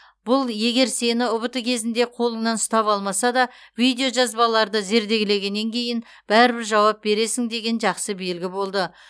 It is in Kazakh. бұл егер сені ұбт кезінде қолыңнан ұстап алмаса да видео жазбаларды зерделегеннен кейін бәрібір жауап бересің деген жақсы белгі болды